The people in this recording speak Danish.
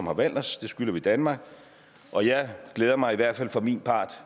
har valgt os det skylder vi danmark og jeg glæder mig i hvert fald for min part